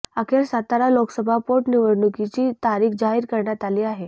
अखेर सातारा लोकसभा पोटनिवडणुकीची तारीख जाहीर करण्यात आली आहे